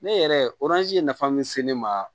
Ne yɛrɛ ye nafa min se ne ma